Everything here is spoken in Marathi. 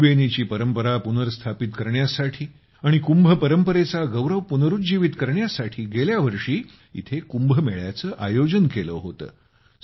त्रिबेनीची परंपरा पुनर्स्थापित करण्यासाठी आणि कुंभ परंपरेचा गौरव पुनरूज्जीवित करण्यासाठी गेल्या वर्षी इथं कुंभ मेळ्याचं आयोजन केलं होतं